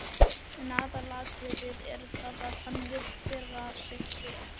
En aðalatriðið er það að hann vill bera sig vel.